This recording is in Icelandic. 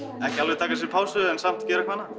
ekki alveg taka sér pásu en samt gera eitthvað